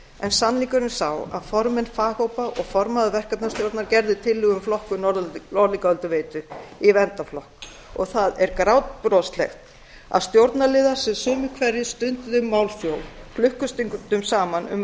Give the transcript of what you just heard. en sannleikurinn er sá að formenn faghópa og formaður verkefnastjórnar gerðu tillögu um flokkun norðlingaölduveitu í verndarflokk og það er grátbroslegt að stjórnarliðar sem sumir hverjir stunduðu málþóf klukkustundum saman um